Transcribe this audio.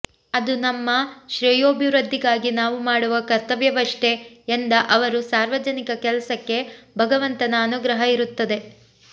ಅದು ನಮ್ಮ ಶ್ರೇಯೋಭಿವೃದ್ಧಿಗಾಗಿ ನಾವು ಮಾಡುವ ಕರ್ತವ್ಯವಷ್ಟೆ ಎಂದ ಅವರು ಸಾರ್ವಜನಿಕ ಕೆಲಸಕ್ಕೆ ಭಗವಂತನ ಅನುಗ್ರಹ ಇರುತ್ತದೆ